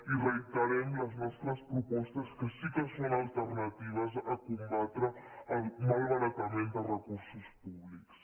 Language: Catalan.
i reiterem les nostres propostes que sí que són alternatives a combatre el malbaratament de recursos públics